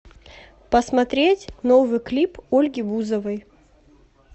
посмотреть новый клип ольги бузовой